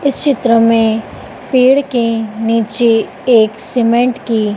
इस चित्र में पेड़ के नीचे एक सीमेंट की--